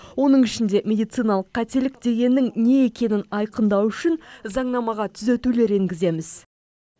оның ішінде медициналық қателік дегеннің не екенін айқындау үшін заңнамаға түзетулер енгіземіз